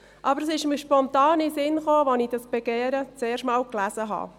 aber es ist mir spontan in den Sinn gekommen, als ich dieses Begehren das erste Mal gelesen habe.